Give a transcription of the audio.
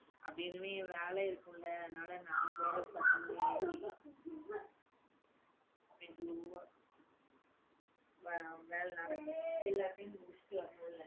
அப்படி இனிமே, வேலை இருக்கும்ல. அதனால நான் போறது பத்து மணி ஆயிடும். மெதுவா வேலை நடக்கும். எல்லாத்தையும் முடிச்சிட்டு வரும்போது